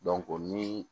ni